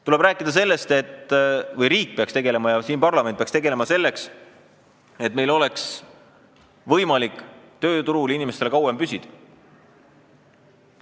Tuleb rääkida sellest, et riik ja parlament peaksid tegelema sellega, et inimestel oleks võimalik kauem tööturul püsida.